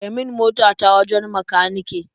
Kai min mota ta wajen makanike.